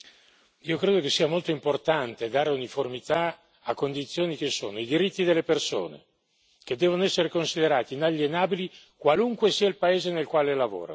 Io credo che sia molto importante dare uniformità a condizioni che sono i diritti delle persone, che devono essere considerati inalienabili, qualunque sia il paese nel quale lavorano